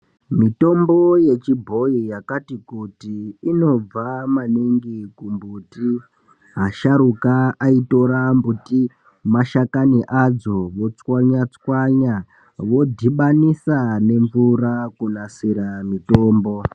Mitombo yechibhoyi yakati kuti inobva maningi kumbuti asharuka aitora mbiti mashakani adzo ochwanya chwanya odhibanisa nemvura kunasira mitombo.